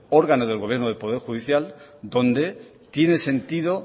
órgano del gobierno del poder judicial donde tiene sentido